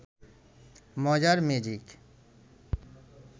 মজার ম্যাজিক